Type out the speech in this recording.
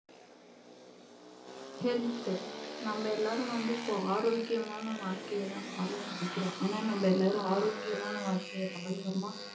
health நாம எல்லாரும் வந்து இப்போ ஆரோக்கியமான வாழ்க்கையை தான் வாழ நினைக்கிறோம் ஆனா நம்ம எல்லோரும் ஆரோக்கியமான வாழ்க்கையை வாழ்றோமா?